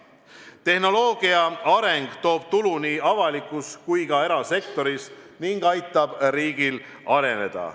Tehnoloogia areng toob tulu nii avalikus kui ka erasektoris ning aitab riigil areneda.